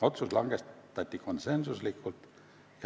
Otsus langetati konsensuslikult.